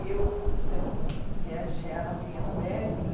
E eu, então, viajava em albergue.